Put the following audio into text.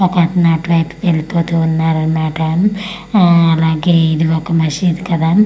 ఒక అతను అటువైపు తిరుగుతూతూ ఉన్నారు అన్నమాట ఊ అలాగే ఇదొక మసీద్ కదా మా--